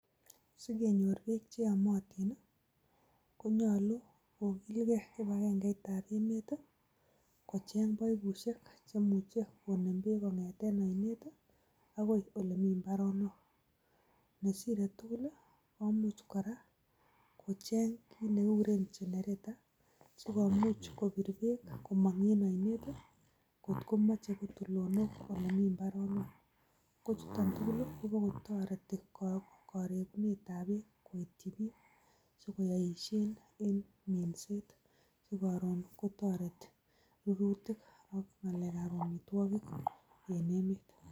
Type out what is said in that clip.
Sikenyor beek che yomotin konyolu kogilge kipagenge itab emet kocheng baibushek che muche konem beek kong'eten oinet agoi ole mi mbaronok. Ne sire tugul komuch kora kocheng kiy ne kiguren generator sigomuch kopir beek komong en oinet kot komoche koit tulonok ole mi mbaronok. Ko chuton tugul kobokotoreti koregunetab beek koityi biik. Si koboishen en minset. Ko koron kotoreti ruruutik ak ngalekab amitwogik en emet.